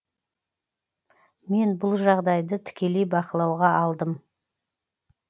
мен бұл жағдайды тікелей бақылауға алдым